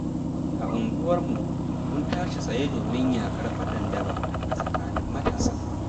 A unguwarmu, mun tashi tsaye domin yakar fadan daba a tsakanin matasa.